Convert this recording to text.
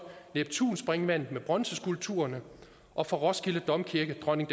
neptumspringvandet med bronzeskulpturerne og fra roskilde domkirke dronning